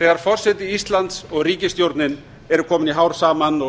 þegar forseti íslands og ríkisstjórnin eru komin í hár saman og